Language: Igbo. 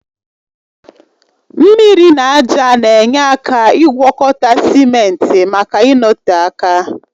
Mmiri na ájá na-enye aka ịgwọkọta simenti maka ịnọte aka